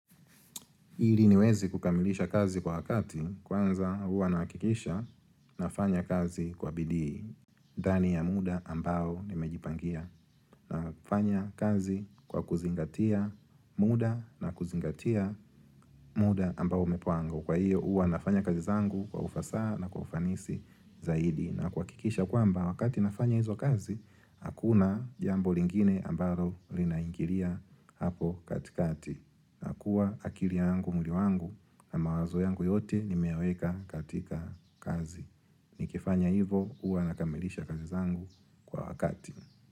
Ili niweze kukamilisha kazi kwa wakati kwanza huwa nahakikisha nafanya kazi kwa bidii, ndani ya muda ambao nimejipangia na kufanya kazi kwa kuzingatia muda na kuzingatia muda ambao umepangwa. Kwa hiyo huwa nafanya kazi zangu kwa ufasaha na kwa ufanisi zaidi na kuhakikisha kwamba wakati nafanya hizo kazi, hakuna jambo lingine ambalo linaingilia hapo katikati. Nakua akili yangu, mwili wangu na mawazo yangu yote nimeyaweka katika kazi. Nikifanya hivo huwa nakamilisha kazi zangu kwa wakati.